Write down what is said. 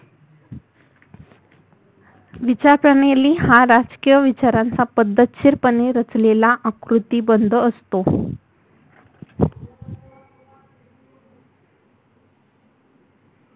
विचारप्रणाली हा राजकीय विचारांचा पद्धतशीरपणे रचलेला आकृतीबंध असतो